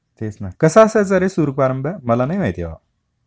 तेच ना, कसा असायच्या रे सूर पारंब्या? मला नाही माहिती बाबा